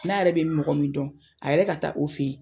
N'a yɛrɛ bɛ mɔgɔ min dɔn a yɛrɛ ka taa o fɛ yen.